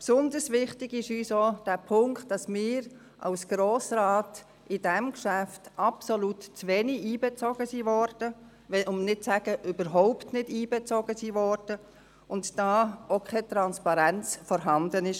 Besonders wichtig ist uns auch der Punkt, dass wir als Grosser Rat bei diesem Geschäft absolut zu wenig einbezogen wurden – um nicht zu sagen, überhaupt nicht einbezogen wurden –, und dass da auch keine Transparenz vorhanden war: